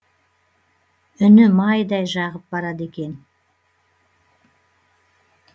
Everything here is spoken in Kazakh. үні майдай жағып барады екен